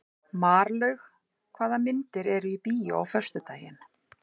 Marlaug, hvaða myndir eru í bíó á föstudaginn?